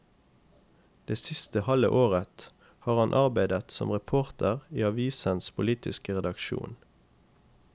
Det siste halve året har han arbeidet som reporter i avisens politiske redaksjon.